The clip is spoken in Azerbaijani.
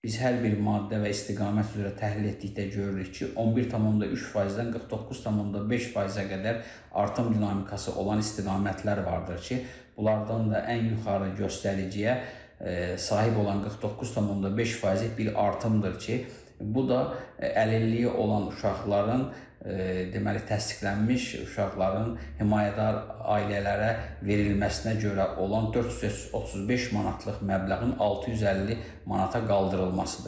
Biz hər bir maddə və istiqamət üzrə təhlil etdikdə görürük ki, 11,3%-dən 49,5%-ə qədər artım dinamikası olan istiqamətlər vardır ki, bunlardan da ən yuxarı göstəriciyə sahib olan 49,5%-lik bir artımdır ki, bu da əlilliyi olan uşaqların, deməli, təsdiqlənmiş uşaqların himayədar ailələrə verilməsinə görə olan 435 manatlıq məbləğin 650 manata qaldırılmasıdır.